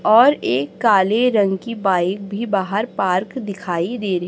और एक काले रंग की बाइक भी बाहर पार्क दिखाई दे री--